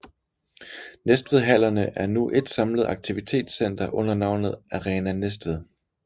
Næstved Hallerne er nu et samlet aktivitets center under navnet Arena Næstved